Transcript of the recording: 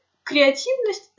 креативность